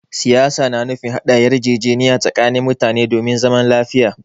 Siyasa na nufin haɗa yarjejeniya tsakanin mutane domin zaman lafiya.